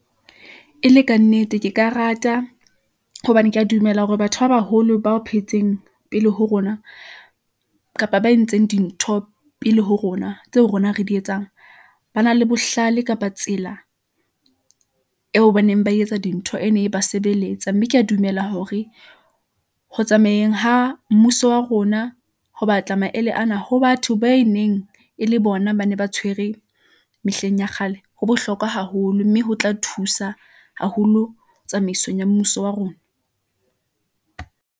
E le ka nnete, ke ka rata hobane ke a dumela hore batho ba baholo bao phetseng pele ho rona kapa ba entseng dintho pele ho rona tseo rona re di etsang, ba na le bohlale kapa tsela eo baneng ba etsa dintho e ne e ba sebeletsa. Mme ke a dumela hore ho tsamayeng ha mmuso wa rona ho batla maele ana ho batho ba e neng e le bona ba ne ba tshwere mehleng ya kgale. Ho bohlokwa haholo, mme ho tla thusa haholo tsamaisong ya mmuso wa rona.